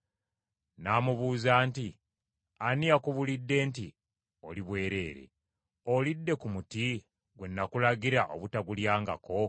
N’amubuuza nti, “Ani akubuulidde nti oli bwereere? Olidde ku muti gwe nakulagira obutagulyangako?”